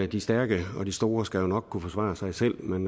de stærke og de store skal jo nok kunne forsvare sig selv men